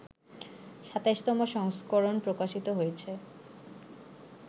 ২৭তম সংস্করণ প্রকাশিত হয়েছে